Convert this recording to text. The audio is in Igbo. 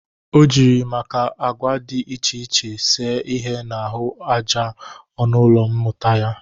O jiri maka agwa dị iche iche see ihe n'ahụ aja ọnụ ụlọ mmụta ya.